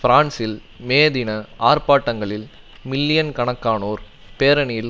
பிரான்சில் மே தின ஆர்ப்பாட்டங்களில் மில்லியன்கணக்கானோர் பேரணியில்